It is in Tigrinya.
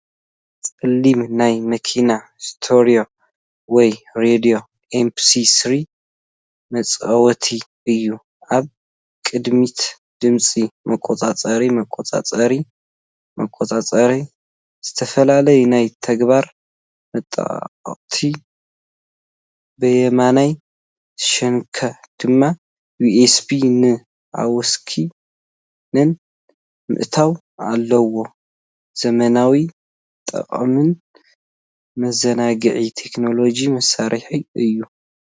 ጸሊም ናይ መኪና ስቴሪዮ ወይ ሬድዮ MP3 መጻወቲ እዩ። ኣብ ቅድሚት ድምጺ መቆጻጸሪ መቆጻጸሪ መቆጻጸሪ፡ ዝተፈላለዩ ናይ ተግባር መጠወቒታት፡ ብየማናይ ሸነኽ ድማ USBን AUXን ምእታው ኣለዉ። ዘመናውን ጠቓምን መዘናግዒ ቴክኖሎጂ መሳርሒ እዩ፡፡